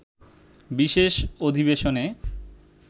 বিশেষ অধিবেশনে